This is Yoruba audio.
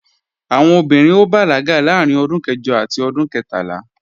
Àwọn ọmọbìnrin ó bàlágà láàárín ọdún kẹjọ àti ọdún kẹtàlá